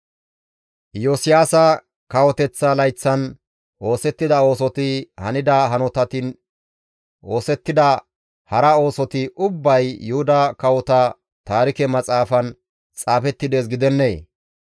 Iyosiyaasa kawoteththa layththan oosettida oosoti, hanida hanotinne oosettida hara oosoti ubbay Yuhuda Kawota Taarike Maxaafan xaafetti dees gidennee?